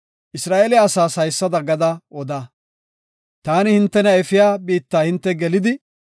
“Isra7eele asaas haysada gada oda; taani hintena efiya biitta hinte gelidi,